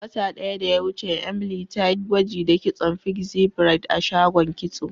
Wata daya da ya wuce, Emily ta yi gwaji da kitson pixie braid a shagon kitso.